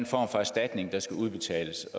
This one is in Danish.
for erstatning der skal udbetales